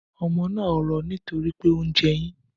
Ọmọ naa rọ nitori pe o njẹ eyin.